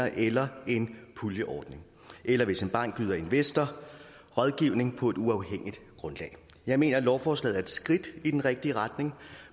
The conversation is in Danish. eller en puljeordning eller hvis en bank yder investor rådgivning på et uafhængigt grundlag jeg mener at lovforslaget er et skridt i den rigtige retning